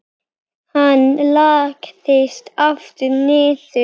Hann lagðist aftur niður.